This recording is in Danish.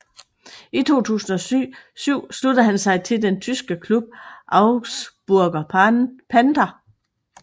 I 2007 sluttede han sig til den tyske klub Augsburger Panther